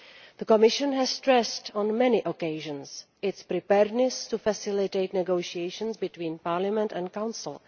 The Commission has stressed on many occasions its readiness to facilitate negotiations between Parliament and the Council.